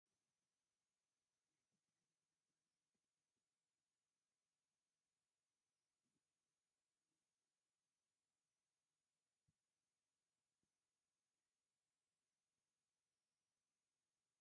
ናይ ኢትዮጵያ ፊደራል ፖሊስ ኣብ ፅርግያ ተር ኢሎም ሓደ ዓይነት መስመር መሳርያ ሒዞም ሰላምታ ይለዋወጡ ኣለዉ ክልተ ካሊእ ዓይነት ተከደኑ ብርሕቀት ኣለዉ እንታይ እዮ?